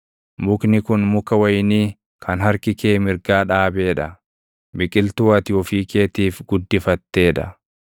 mukni kun muka wayinii kan harki kee mirgaa dhaabee dha; biqiltuu ati ofii keetiif guddifattee dha.